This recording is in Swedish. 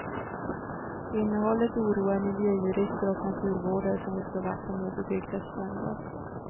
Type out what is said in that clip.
Innehållet oroar miljöjurister och naturvårdare som vill slå vakt om obebyggda stränder.